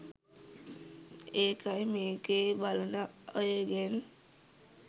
ඒකයි මේකෙ බලන අයගෙන්